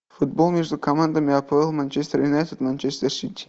футбол между командами апл манчестер юнайтед манчестер сити